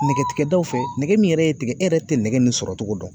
Nɛgɛtigɛbdaw fɛ nɛgɛ min yɛrɛ ye tigɛ e yɛrɛ te nɛgɛ nin sɔrɔ togo dɔn.